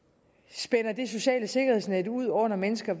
spænder det sociale sikkerhedsnet ud under mennesker